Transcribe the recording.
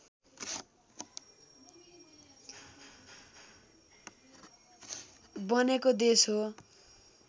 बनेको देश हो